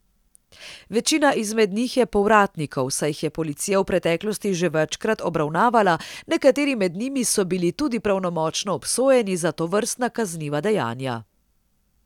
Večina izmed njih je povratnikov, saj jih je policija v preteklosti že večkrat obravnavala, nekateri med njimi so bili tudi pravnomočno obsojeni za tovrstna kazniva dejanja.